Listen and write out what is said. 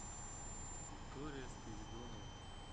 виктория спиридонова